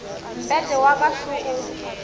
mpete wa ka šo o